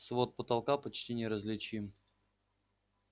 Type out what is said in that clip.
свод потолка почти неразличим